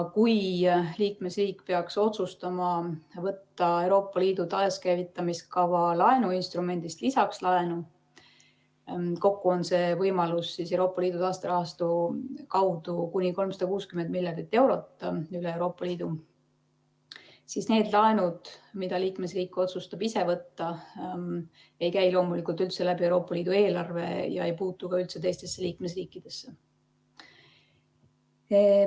Kui liikmesriik peaks otsustama võtta Euroopa Liidu taakäivitamise kava laenuinstrumendist lisaks laenu – kokku on see võimalus Euroopa Liidu taasterahastu kaudu kuni 360 miljardit eurot üle Euroopa Liidu –, siis need laenud, mida liikmesriik otsustab ise võtta, ei käi loomulikult läbi Euroopa Liidu eelarve ega puutu üldse teistesse liikmesriikidesse.